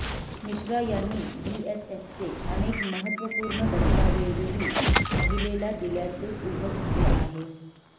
मिश्रा यांनी बीएसएफचे अनेक महत्वापूर्ण दस्तावेजही महिलेला दिल्याचे उघड झाले आहे